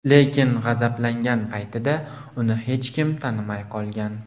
Lekin g‘azablangan paytida uni hech kim tanimay qolgan.